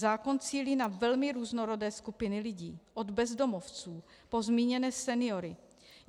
Zákon cílí na velmi různorodé skupiny lidí - od bezdomovců po zmíněné seniory.